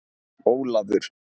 Ólafur